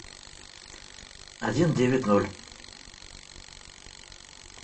один девять ноль